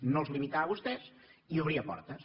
no els limitava a vostès i obria portes